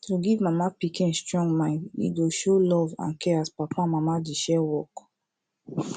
to give mama pikin strong mind e go show love and care as papa and mama dey share work